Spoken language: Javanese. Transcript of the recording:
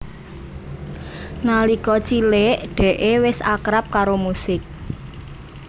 Nalika cilik Dee wis akrab karo musik